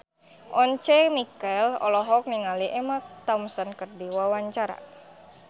Once Mekel olohok ningali Emma Thompson keur diwawancara